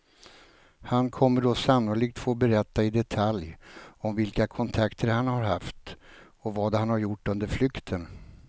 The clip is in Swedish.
Han kommer då sannolikt få berätta i detalj om vilka kontakter han har haft och vad han har gjort under flykten.